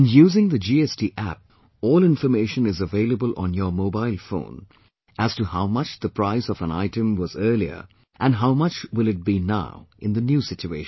And using the GST App all information is available on your mobile phone as to how much the price of an item was earlier and how much will it be now in the new situation